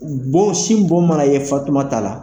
Bɔn sin bon mana ye Fatumata la,